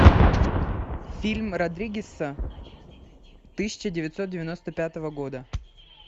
фильм родригеса тысяча девятьсот девяносто пятого года